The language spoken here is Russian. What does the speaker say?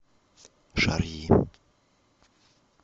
шарьи